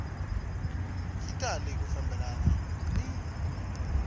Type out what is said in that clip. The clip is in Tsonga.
yi tali ku fambelana ni